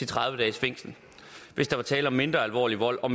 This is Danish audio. tredive dages fængsel hvis der er tale om mindre alvorlig vold og